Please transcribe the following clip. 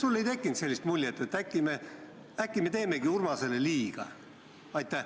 Kas sul ei tekkinud sellist muljet, et äkki me teemegi Urmasele liiga?